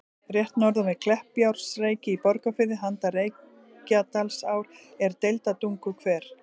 Rétt norðan við Kleppjárnsreyki í Borgarfirði, handan Reykjadalsár, er Deildartunguhver.